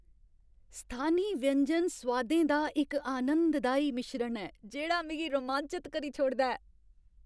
स्थानी व्यंजन सोआदें दा इक आनंददाई मिश्रण ऐ जेह्ड़ा मिगी रोमांचत करी छोड़दा ऐ।